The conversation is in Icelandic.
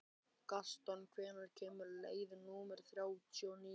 Gaston, hvenær kemur leið númer þrjátíu og níu?